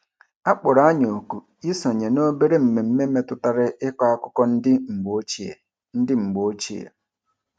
A kpọrọ anyị oku isonye n’obere mmemme metụtara ịkọ akụkọ ndị mgbe ochie. ndị mgbe ochie.